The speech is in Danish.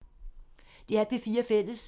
DR P4 Fælles